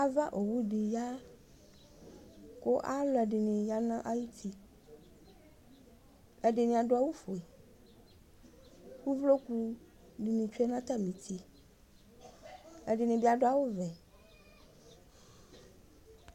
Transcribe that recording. Ava ʋwʋ di ya kʋ alʋ ɛdini yanʋ ayʋti ɛdini adʋ awʋfue kʋ ʋvlokʋ dini tsʋe nʋ atami uti ɛdini bi adʋ awʋvɛ